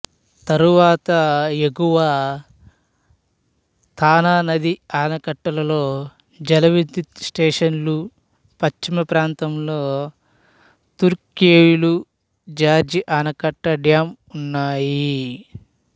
తర్వాత ఎగువ తనా నది ఆనకట్టలలో జలవిద్యుత్తు స్టేషన్లు పశ్చిమప్రాంతంలో తుర్క్వేలు జార్జి ఆనకట్ట డ్యాం ఉన్నాయి